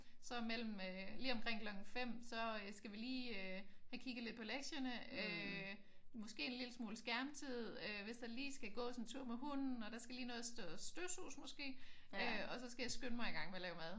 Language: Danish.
Så mellem øh lige omkring klokken 5 så skal vi lige have kigget lidt på lektierne. Øh måske en lille smule skærmtid. Hvis der lige skal gås en tur med hunden og der skal lige nås at støvsuges måske. Og så skal jeg skynde mig i gang med at lave mad